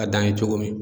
A dan ye cogo min